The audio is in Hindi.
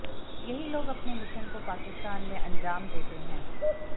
यही लोग अपने मिशन को पाकिस्तान में अंजाम देते हैं